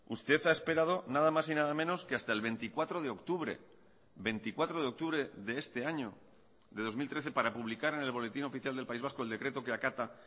usted ha esperado nada más y nada menos que hasta el veinticuatro de octubre veinticuatro de octubre de este año de dos mil trece para publicar en el boletín oficial del país vasco el decreto que acata